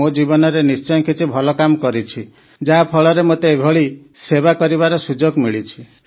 ମୋ ଜୀବନରେ ନିଶ୍ଚୟ କିଛି ଭଲ କାମ କରିଛି ଯାହା ଫଳରେ ମୋତେ ଏଭଳି ସେବା କରିବାର ସୁଯୋଗ ମିଳିଛି